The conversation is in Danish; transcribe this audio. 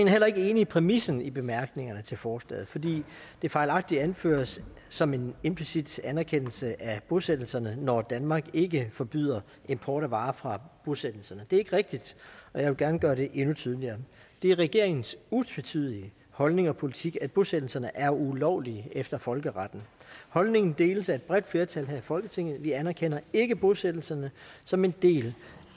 er heller ikke enig i præmissen i bemærkningerne til forslaget fordi det fejlagtigt anføres som en implicit anerkendelse af bosættelserne når danmark ikke forbyder import af varer fra bosættelserne det er ikke rigtigt og jeg vil gerne gøre det endnu tydeligere det er regeringens utvetydige holdning og politik at bosættelserne er ulovlige efter folkeretten holdningen deles af et bredt flertal her i folketinget vi anerkender ikke bosættelserne som en del